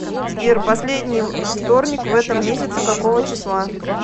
сбер последний вторник в этом месяце какого числа